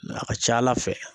A ka ca ala fɛ